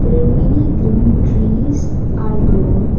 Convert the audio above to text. there many green trees are grown.